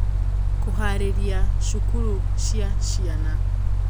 Kũhaarĩria cukuru cia ciana